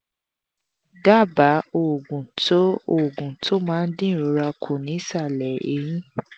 daba oògùn tó oògùn tó máa ń dín ìrora ku ni isale eyin